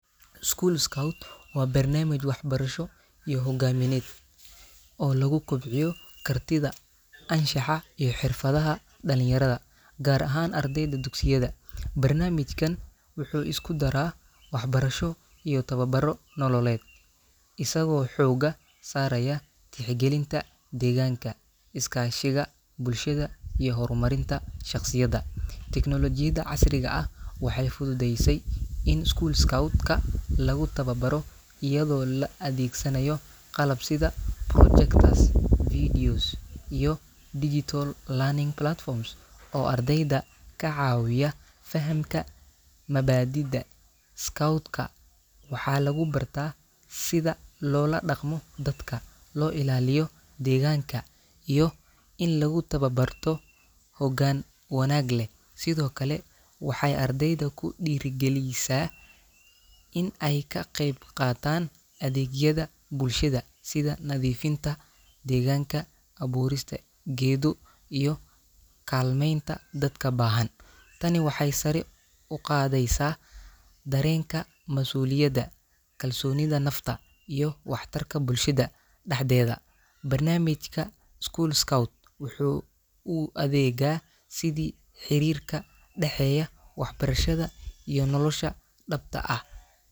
School scout waa barnaamij waxbarasho iyo hogaamineed oo lagu kobciyo kartida, anshaxa iyo xirfadaha dhalinyarada, gaar ahaan ardayda dugsiyada. Barnaamijkan wuxuu isku daraa waxbarasho iyo tababarro nololeed, isagoo xoogga saaraya tixgelinta deegaanka, is-kaashiga bulshada iyo horumarinta shaqsiyadda. Teknoolajiyada casriga ah waxay fududeysay in school scout-ka lagu tababaro iyadoo la adeegsanayo qalab sida projectors, videos, iyo digital learning platforms oo ardayda ka caawiya fahamka mabaadi’da scout-ka. Waxaa lagu barta sida loola dhaqmo dadka, loo ilaaliyo deegaanka, iyo in lagu tababarto hoggaan wanaag leh. Sidoo kale, waxay ardayda ku dhiirrigelisaa in ay ka qayb qaataan adeegyada bulshada sida nadiifinta deegaanka, abuurista geedo, iyo kaalmaynta dadka baahan. Tani waxay sare u qaadaysaa dareenka masuuliyadda, kalsoonida nafta, iyo waxtarka bulshada dhexdeeda. Barnaamijka school scout wuxuu u adeegaa sidii xiriir ka dhaxeeya waxbarashada iyo nolosha dhabta ah.